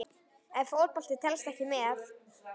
Ef Fótbolti telst ekki með?